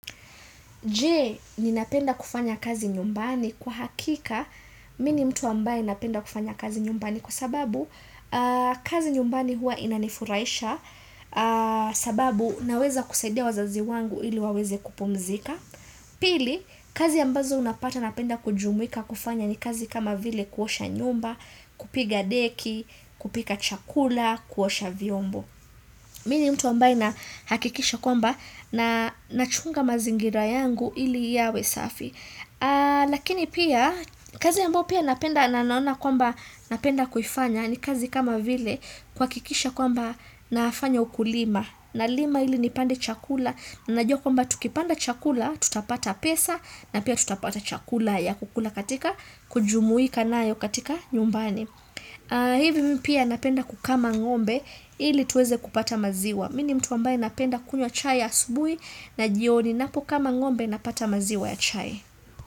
Je, ninapenda kufanya kazi nyumbani kwa hakika, mimi ni mtu ambaye napenda kufanya kazi nyumbani kwa sababu kazi nyumbani huwa inanifurahisha sababu naweza kusaidia wazazi wangu ili waweze kupumzika. Pili, kazi ambazo unapata napenda kujumuika kufanya ni kazi kama vile kuosha nyumba, kupiga deki, kupika chakula, kuosha vyombo. Mimi ni mtu ambaye nahakikisha kwamba na nachunga mazingira yangu ili yawe safi. Lakini pia kazi ambayo pia napenda na naona kwamba napenda kufanya ni kazi kama vile kuhakikisha kwamba nafanya ukulima. Nalima ili nipande chakula na najua kwamba tukipanda chakula tutapata pesa na pia tutapata chakula ya kukula katika kujumuika nayo katika nyumbani. Hivi mimi pia napenda kukama ngombe ili tuweze kupata maziwa mimi ni mtu ambaye napenda kunywa chai asubuhi na jioni ninapokama ngombe napata maziwa ya chai.